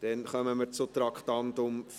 Wir kommen zum Traktandum 35.